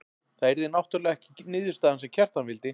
Það yrði náttúrlega ekki niðurstaðan sem Kjartan vildi.